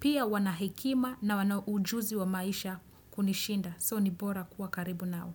Pia wanahekima na wana ujuzi wa maisha kunishinda. So ni bora kwa karibu nao.